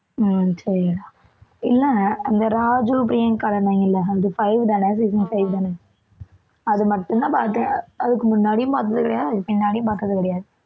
அஹ் சரி இல்லை அந்த ராஜு, பிரியங்கா இருந்தாங்கள்ல அந்த five தானே season five தானே அது மட்டும்தான் பார்த்தேன் அதுக்கு முன்னாடியும் பார்த்தது கிடையாது அதுக்கு பின்னாடியும் பார்த்தது கிடையாது